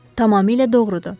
Tamamilə doğrudur.